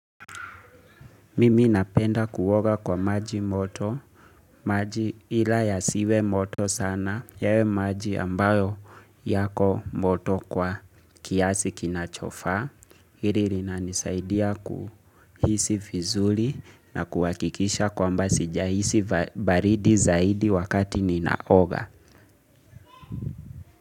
Mimi napenda kuoga kwa maji moto, maji ila yasiwe moto sana, yawe maji ambayo yako moto kwa kiasi kinachofaa. Hili lina nisaidia kuhisi fizuli na kuakikisha kwamba sijahisi baridi zaidi wakati ninaoga.